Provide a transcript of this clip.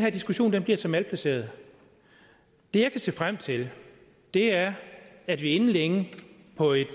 her diskussion bliver så malplaceret det jeg kan se frem til er at vi inden længe på et